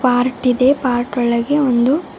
part ಇದೆ part ಒಳಗೆ ಒಂದು--